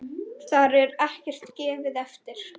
Þar er ekkert gefið eftir.